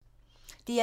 DR1